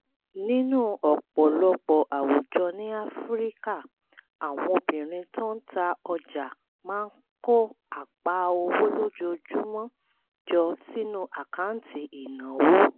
nínú ọ̀pọ̀lọpọ̀ àwùjọ ní áfíríkà àwọn obìnrin tó ń ta ọjà máa kó apá owó ojoojúmọ́ jọ sínú àkáǹtì ìnáwó